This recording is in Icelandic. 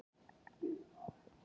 Tillagan á mjög gráu svæði